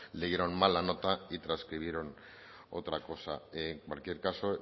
leyeron mal la nota y transcribieron otra en cualquier caso